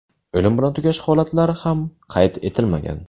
O‘lim bilan tugash holatlari ham qayd etilmagan.